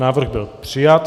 Návrh byl přijat.